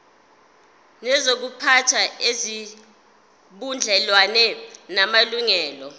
nezokuziphatha ezinobudlelwano namalungelo